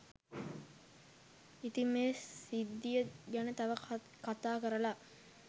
ඉතිං මේ සිද්ධිය ගැන තව කතා කරලා